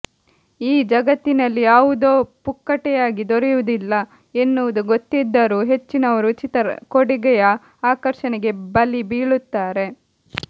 ಈ ಜಗತ್ತಿನಲ್ಲಿ ಯಾವುದೂ ಪುಕ್ಕಟೆಯಾಗಿ ದೊರೆಯುವುದಿಲ್ಲ ಎನ್ನುವುದು ಗೊತ್ತಿದ್ದರೂ ಹೆಚ್ಚಿನವರು ಉಚಿತ ಕೊಡುಗೆಯ ಆಕರ್ಷಣೆಗೆ ಬಲಿ ಬೀಳುತ್ತಾರೆ